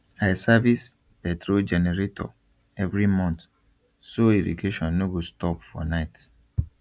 i service petrol generator every month so irrigation no go stop for night